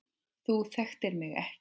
Þú þekktir mig ekki.